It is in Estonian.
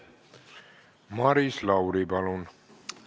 Maris Lauri, palun!